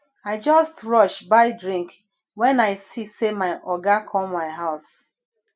i just rush buy drink wen i see sey my oga come my house